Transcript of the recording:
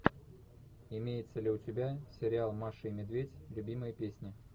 имеется ли у тебя сериал маша и медведь любимые песни